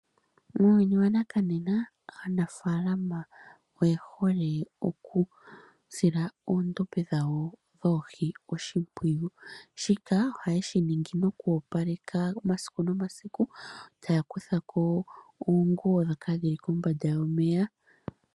Muuyuni wanaka nena aanafalama oye hole okusila oshimpwiyu oondombe dhawo dhoohi oshimpwiyu, mono hayoopalekemo kehesiku taakuthako oonguwo ndhoka dhili kombanda yomeya.